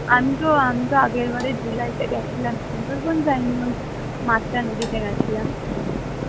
আমিতো আমিতো আগের বারে july তে গেছিলাম, সুন্দরবন যাইনি ওই মাতলা নদীতে গেছিলাম